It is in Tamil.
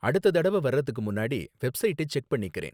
அடுத்த தடவ வர்றதுக்கு முன்னாடி வெப்சைட்டை செக் பண்ணிக்குறேன்.